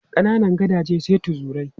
Kananan gadaje sai tuzurai.